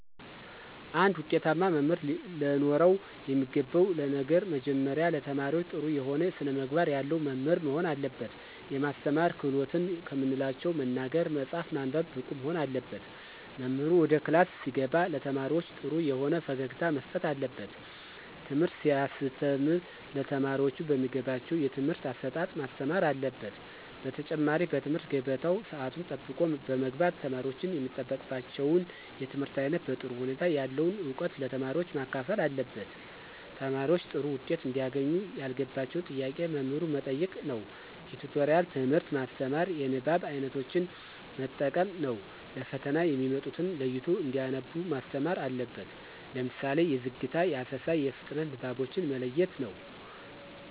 አንድ ውጤታማ መምህር ለኖረው የሚገባው ነገር መጀመሪያ ለተማሪዎች ጥሩ የሆነ ስነምግባር ያለው መምህር መሆን አለበት። የማስተማር ክህሎትን ከምንላቸው መናገር፣ መፃፍ፣ ማንበብ ብቁ መሆን አለበት። መምህሩ ወደ ክላስ ሲገባ ለተማሪዎች ጥሩ የሆነ ፈገግታ መስጠት አለበት። ትምህርት ሲያስተም ለተማሪዎቹ በሚገባቸው የትምህርት አሰጣጥ ማስተማር አለበት። በተጨማሪ በትምህርት ገበታው ሰአቱን ጠብቆ በመግባት ተማሪወች የሚጠበቅባቸውን የትምህርት አይነት በጥሩ ሁኔታ ያለውን እውቀት ለተማሪዎች ማካፈል አለበት። ተማሪዎች ጥሩ ዉጤት እንዲያገኙ ያልገባቸውን ጥያቄ መምህሩ መጠየቅ ነዉ። የቲቶሪያል ትምህርት ማስተማር። የንባብ አይነቶችን መጠቀም ነው። ለፈተና የሚመጡትን ለይቶ እንዲያነቡ ማስተማር አለበት። ለምሳሌ የዝግታ፣ የአሰሳ፣ የፍጥነት ንባቦችን መለየት ነው።